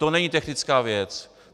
To není technická věc.